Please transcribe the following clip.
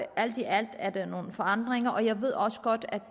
alt i alt er det nogle forandringer og jeg ved også godt at